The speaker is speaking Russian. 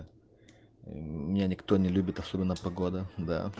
меня никто не любит особенно погода да